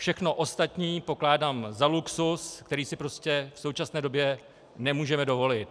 Všechno ostatní pokládám za luxus, který si prostě v současné době nemůžeme dovolit.